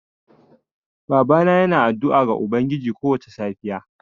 Babana yana addu'a ga ubangijinsa kowace safiya.